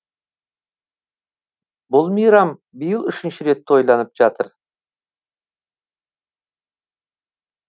бұл мейрам биыл үшінші рет тойланып жатыр